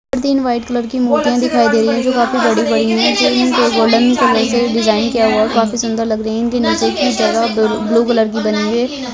तीन white colour की मूर्तियाँ दिखाई दे रही है जो काफी बड़ी-बड़ी है जिनके के गोल्डन कलर से डिज़ाइन किया हुआ है काफी सुन्दर लग रही है इनकी नज़दीकी जगह ब्लू कलर की बनी है।